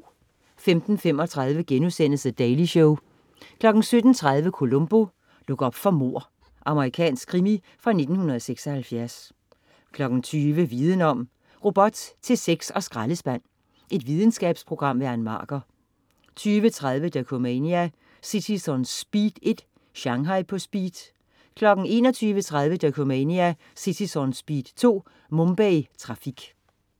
15.35 The Daily Show * 17.30 Columbo: Luk op for mord. Amerikansk krimi fra 1976 20.00 Viden om: Robot til sex og skraldespand. Videnskabsprogram. Ann Marker 20.30 Dokumania: Cities On Speed 1. Shanghai på speed 21.30 Dokumania: Cities On Speed 2. Mumbai Trafik